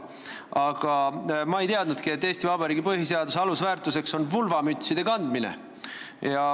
Aga ma ei teadnud, et Eesti Vabariigi põhiseaduse alusväärtuseks on vulvamütside kandmine.